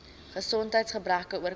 gesondheids gebreke oorkom